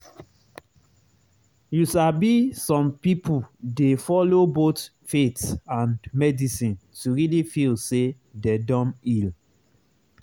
you sabi some people dey follow both faith and medicine to really feel say dem don heal.